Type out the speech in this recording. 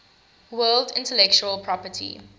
world intellectual property